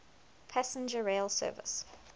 passenger rail service